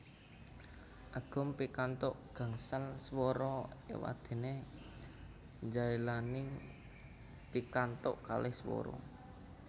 Agum pikantuk gangsal swara éwadéné Djailani pikantuk kalih swara